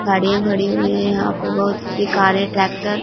गाड़ियां खड़ी हुई हैं यहां पर बहुत सी कारें ट्रैक्टर ।